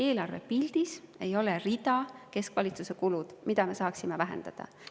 Eelarvepildis ei ole rida "Keskvalitsuse kulud", mida me saaksime vähendada.